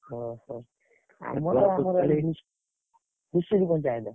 ଓହୋ! ଧୂସୁରୀ ପଞ୍ଚାୟତ।